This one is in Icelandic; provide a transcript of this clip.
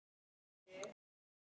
Við skiljum þetta ekki.